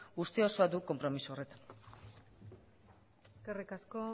uste osoa du konpromiso horretan eskerrik asko